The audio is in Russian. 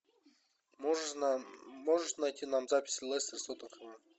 можно можешь найти нам запись лестер с тоттенхэмом